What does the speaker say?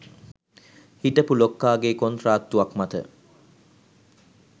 හිටපු ලොක්කාගේ කොන්ත්‍රාත්තුවක් මත